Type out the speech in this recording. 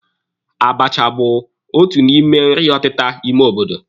Abacha bụ otu n'ime nri ọtịta ime obodo